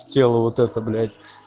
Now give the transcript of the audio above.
тело вот это блять